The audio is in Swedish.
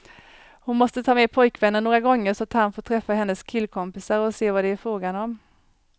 Hon måste ta med pojkvännen några gånger så att han får träffa hennes killkompisar och se vad det är frågan om.